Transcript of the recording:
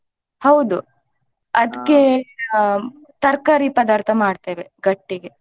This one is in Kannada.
ಹೌದು ಅದ್ಕೆ ಆಹ್ ತರಕಾರಿ ಪದಾರ್ಥ ಮಾಡ್ತೇವೆ ಗಟ್ಟೆಗೆ.